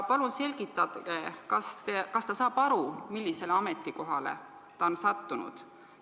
Palun selgitage, kas ta saab aru, millisele ametikohale ta on sattunud?